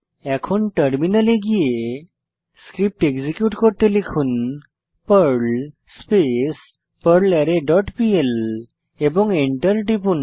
এখন টার্মিনালে ফিরে গিয়ে স্ক্রিপ্ট এক্সিকিউট করতে লিখুন পার্ল স্পেস পারলারে ডট পিএল এবং এন্টার টিপুন